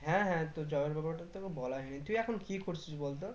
হ্যাঁ হ্যাঁ তো job এর ব্যাপারটা তো তোকে বলাই হয়ে নি, তুই এখন কি করছিস বল তো